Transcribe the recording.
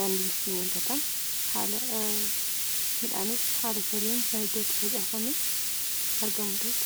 Daandiinis ni mul'ata. Midhaanis haala sirrii ta'een faca'ee mul'ataa jechuudha.